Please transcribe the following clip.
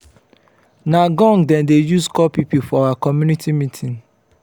na gong dem dey use call pipo for our community meeting.